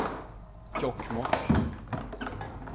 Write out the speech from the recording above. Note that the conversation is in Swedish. Jokkmokk